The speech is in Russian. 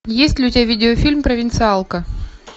есть ли у тебя видеофильм провинциалка